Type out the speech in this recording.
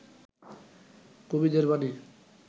কবিদের বাণী